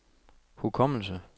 hukommelse